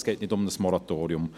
Es geht nicht um ein Moratorium.